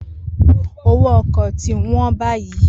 Owó ọkọ̀ tí wọ́n báyìí.